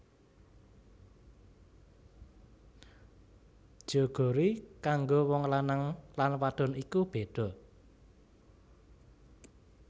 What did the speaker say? Jeogori kanggo wong lanang lan wadon iku beda